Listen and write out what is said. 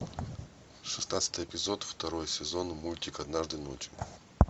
шестнадцатый эпизод второй сезон мультик однажды ночью